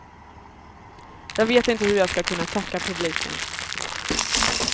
Jag vet inte hur jag ska kunna tacka publiken.